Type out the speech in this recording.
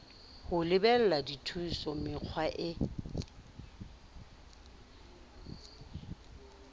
ho lebela dithuso mekga e